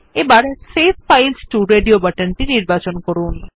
এখন save files to radio বাটনটি নির্বাচন করুন